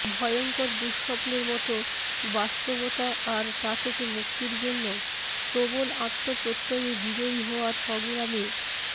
ভয়ংকর দুঃস্বপ্নের মতো বাস্তবতা আর তা থেকে মুক্তির জন্য প্রবল আত্মপ্রত্যয়ে বিজয়ী হওয়ার সংগ্রামের